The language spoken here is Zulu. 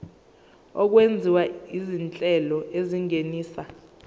okwenziwa izinhlelo ezingenisa